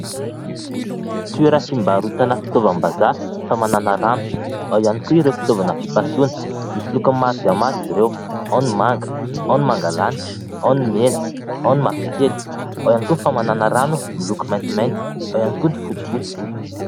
Toeram-pivarotana fitaovam-bazaha famanana rano. Ao ihany koa ireo fitaovana fipasohana. Misy lokony maro dia maro izy ireo : ao ny manga, ao ny manga lanitra, ao ny mena, ao ny mavokely, ao ihany koa ny famanana rano miloko maintimainty, ao ihany koa ny fotsifotsy.